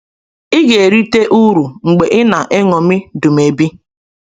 Ị ga-erite uru mgbe ị na-eṅomi Dumebi.